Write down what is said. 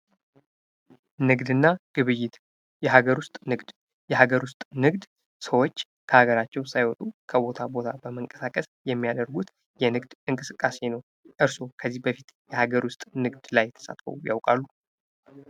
ንግድና ግብይት ፦ የሀገር ውስጥ ንግድ ፦ የሀገር ውስጥ ንግድ ሰዎች ከሀገራቸው ሳይወጡ ከቦታ ቦታ በመንቀሳቀስ የሚያደርጉት የንግድ እንቅስቃሴ ነው ። እርስዎ ከዚህ በፊት የሀገር ውስጥ ንግድ ላይ ተሳትፈው ያውቃሉ ?